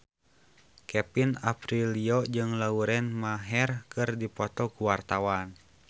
Kevin Aprilio jeung Lauren Maher keur dipoto ku wartawan